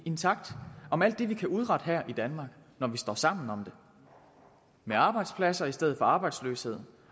intakt om alt det vi kan udrette her i danmark når vi står sammen om det med arbejdspladser i stedet for arbejdsløshed